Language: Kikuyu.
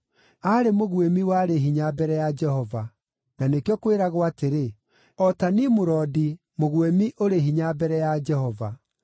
Aarĩ mũguĩmi warĩ hinya mbere ya Jehova; na nĩkĩo kwĩragwo atĩrĩ, “O ta Nimurodi, mũguĩmi ũrĩ hinya mbere ya Jehova.”